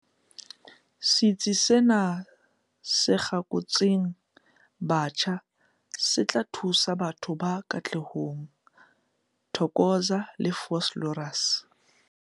Setsi sena se kgakotsweng botjha se tla thusa batho ba Katlehong, Thokoza le Vosloorus.